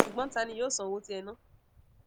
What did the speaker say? sugbon ta ni yoo san owo ti e na